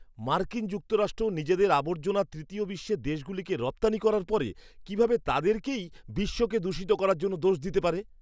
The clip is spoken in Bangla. মার্কিন যুক্তরাষ্ট্র নিজেদের আবর্জনা তৃতীয় বিশ্বের দেশগুলিকে রপ্তানি করার পরে কীভাবে তাদেরকেই বিশ্বকে দূষিত করার জন্য দোষ দিতে পারে?